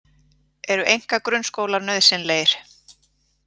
Eru einkagrunnskólar nauðsynlegir?